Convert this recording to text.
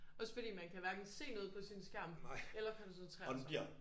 Også fordi man kan hverken se noget på sin skærm eller koncentrere sig